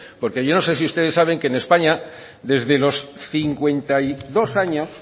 porque yo no sé si ustedes saben que en españa desde los cincuenta y dos años